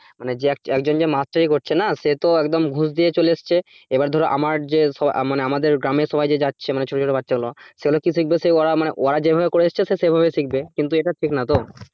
মানে যে একজন যে মাস্টারি করছে না সে তো একদম ঘুষ দিয়ে চলে এসেছে এবার ধরো আমার যে সব আমাদের গ্রামে সব যাচ্ছে ছোট ছোট বাচ্ছা গুলো সেগুলো কি শিখবে সে ওরা মানে ওর যেভাবে করে এসছে সে সেভাবে শিখবে, কিন্তু এটা ঠিক না তো,